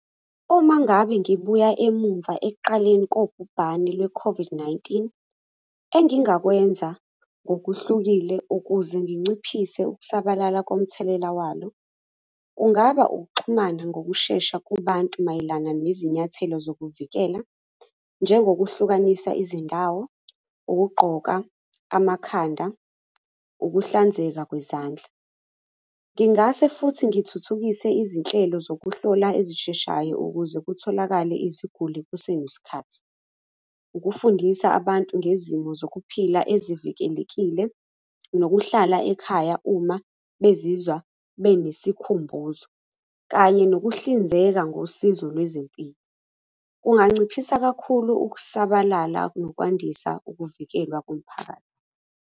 Uma ngabe ngibuya emumva ekuqaleni kobhubhane lwe-COVID-19, engingakwenza ngokuhlukile ukuze nginciphise ukusabalala komthelela walo, kungaba ukuxhumana ngokushesha kubantu mayelana nezinyathelo zokuvikela, njengokuhlukanisa izindawo, ukugqoka amakhanda, ukuhlanzeka kwezandla. Ngingase futhi ngithuthukise izinhlelo zokuhlola ezisheshayo ukuze kutholakale iziguli kusenesikhathi. Ukufundisa abantu ngezimo zokuphila ezivikelekile, nokuhlala ekhaya uma bezizwa benesikhumbuzo, kanye nokuhlinzeka ngosizo lwezempilo. Kunganciphisa kakhulu ukusabalala nokwandisa ukuvikelwa komphakathi.